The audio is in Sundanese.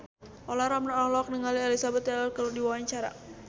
Olla Ramlan olohok ningali Elizabeth Taylor keur diwawancara